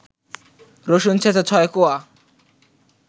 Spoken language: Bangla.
রসুন ছেঁচা ৬ কোয়া